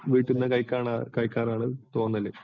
വീട്ടീന്ന് കഴിക്കാനാണ് തോന്നല്.